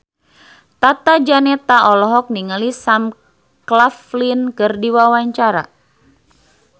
Tata Janeta olohok ningali Sam Claflin keur diwawancara